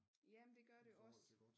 Ja men det gør det også